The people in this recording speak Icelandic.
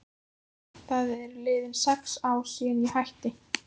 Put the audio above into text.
Það eru liðin sex ár síðan ég hætti.